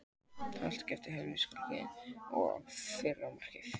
Fyrra markið var sérlega glæsilegt skot í samskeytin.